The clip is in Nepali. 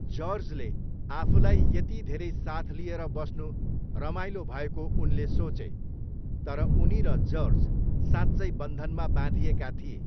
जर्जले आफूलाई यति धेरै साथ लिएर बस्नु रमाइलो भएको उनले सोचे, तर उनी र जर्ज साँच्चै बन्धनमा बाँधिएका थिए।